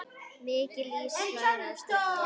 Mikill ís var á stígum.